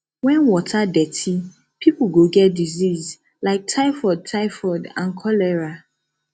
when water dirty people go get disease like typhoid typhoid and cholera